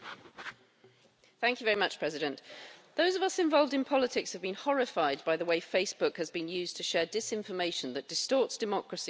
Mr President, those of us involved in politics have been horrified by the way Facebook has been used to share disinformation that distorts democracy and divides societies.